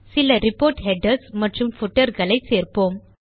சில report headers மற்றும் footers களை சேர்ப்போம்